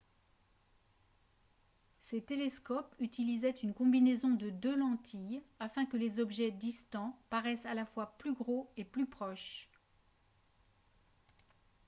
ces télescopes utilisaient une combinaison de deux lentilles afin que les objets distants paraissent à la fois plus gros et plus proches